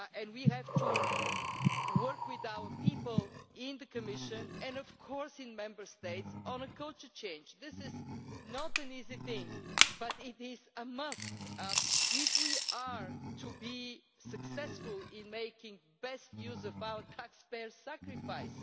We have to work with our people in the Commission and, of course, in the Member States on a culture shift. This is not an easy thing, but it is a must if we are to be successful in making the best use of our taxpayers' sacrifices.